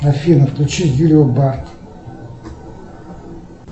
афина включи юлию барк